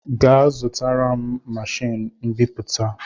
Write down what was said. Gaa zụtara m machiini mbiputa!